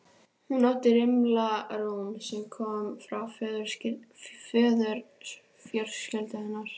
Hún átti rimla rúm sem kom frá föðurfjölskyldu hennar.